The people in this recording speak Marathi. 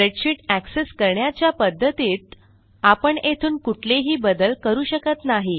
स्प्रेडशीट एक्सेस करण्याच्या पध्दतीत आपण येथून कुठलेही बदल करू शकत नाही